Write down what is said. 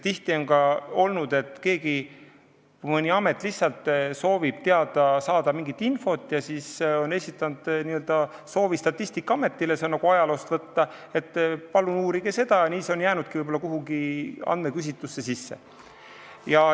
Tihti on olnud nii, et mõni amet soovib saada mingit infot ja on esitanud oma soovi Statistikaametile – see näide on nagu ajaloost võtta –, et palun uurige seda, ja nii see ongi jäänud mõnda küsitlusse sisse.